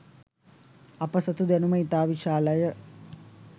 අප සතු දැනුම ඉතා විශාල ය.